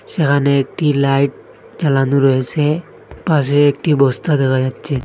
সেখানে একটি লাইট জ্বালানো রয়েসে পাশে একটি বস্তা দেখা যাচ্ছে।